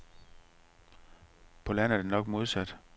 På land er det nok modsat.